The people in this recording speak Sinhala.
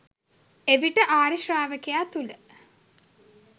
එවිට ආර්ය ශ්‍රාවකයා තුළ